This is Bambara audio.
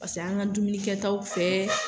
Paseke an ka dumuni kɛ taw fɛ.